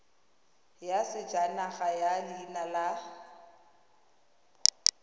ya sejanaga ya leina la